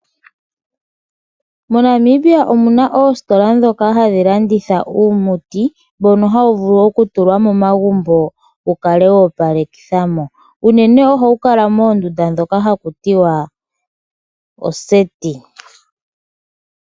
MoNamibia omuna ositola dhoka hadhilanditha uumuti mbono hawuvulu okutulwa momagumbo wukale wopalekithamo uunene ohawukala mondunda dhoka hakutiwa oseti.